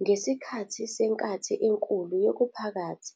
Ngesikhathi seNkathi eNkulu yokuPhakathi,